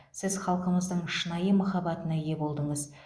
сіз халқымыздың шынайы махаббатына ие болдыңыз